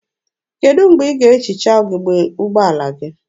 Kedụ mgbe ị ga-ehicha ugebe ụgbọala gị?